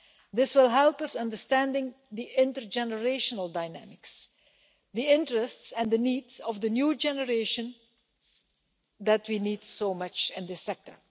This will help us understand the intergenerational dynamics, and the interests and the needs of the new generation that we need so much in this sector.